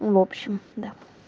в общем да